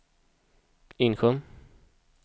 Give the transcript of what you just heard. Insjön